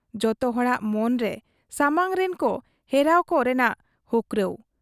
ᱡᱚᱛᱚ ᱦᱚᱲᱟᱜ ᱢᱚᱱ ᱨᱮ ᱥᱟᱢᱟᱝᱨᱤᱱ ᱠᱚ ᱦᱮᱨᱟᱣ ᱠᱚ ᱨᱮ᱓ᱱᱟᱜ ᱦᱚᱸᱠᱨᱟᱣ ᱾